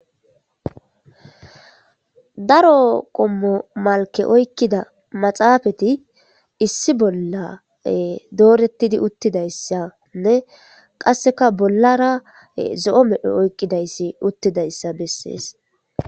Daro qommo malke oykkida maxaafeti issi bolla doorettidi uttidayssanne qasseka bollara zo'o medhoy oykkidayssi uttidayssa bessees.